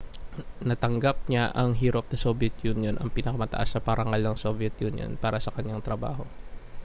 natanggap niya ang hero of the soviet union ang pinakamataas na parangal ng soviet union para sa kanyang trabaho